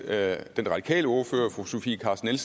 at den radikale ordfører fru sofie carsten